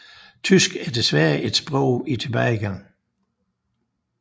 Tysk er desværre et sprog i tilbagegang